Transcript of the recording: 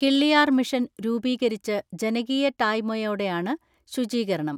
Killiyar mission രൂപീകരിച്ച് ജനകീയ ടായ്മയോടെയാണ് ശുചീകരണം.